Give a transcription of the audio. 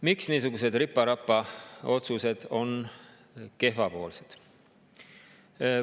Miks niisugused ripa-rapa otsused on kehvapoolsed?